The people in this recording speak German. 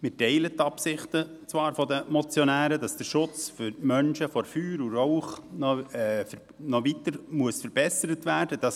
Wir teilen die Ansicht der Motionäre zwar, dass der Schutz der Menschen vor Feuer und Rauch weiter verbessert werden muss.